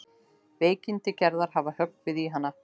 Veikindi Gerðar hafa höggvið í hann.